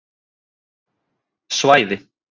Svæði